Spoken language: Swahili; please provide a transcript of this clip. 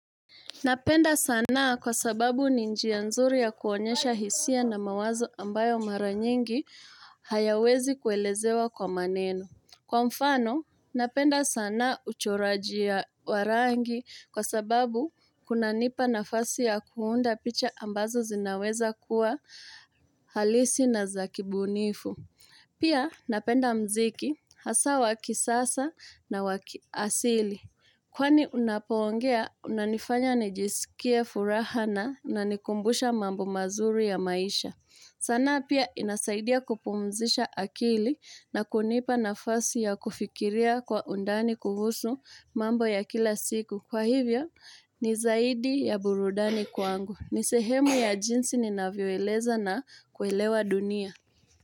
Napenda sanaa kwa sababu ninjia nzuri ya kuonyesha hisia na mawazo ambayo mara nyingi hayawezi kuelezewa kwa maneno. Kwa mfano, napenda sanaa uchoraji ya warangi kwa sababu kuna nipa nafasi ya kuunda picha ambazo zinaweza kuwa halisi na zakibunifu. Pia, napenda mziki hasa wakisasa na wakiasili. Kwani unapongea, unanifanya nijisikie furaha na nikumbusha mambo mazuri ya maisha. Sanaa pia inasaidia kupumzisha akili na kunipa nafasi ya kufikiria kwa undani kuhusu mambo ya kila siku. Kwa hivya, nizaidi ya burudani kwangu. Nisehemu ya jinsi ninaviweleza na kuelewa dunia.